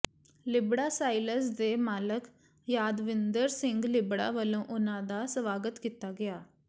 ਲਿਬੜਾ ਸਾਇਲਜ਼ ਦੇ ਮਾਲਕ ਯਾਦਵਿੰਦਰ ਸਿੰਘ ਲਿਬੜਾ ਵਲੋਂ ਉਨ੍ਹਾਂ ਦਾ ਸਵਾਗਤ ਕੀਤਾ ਗਿਆ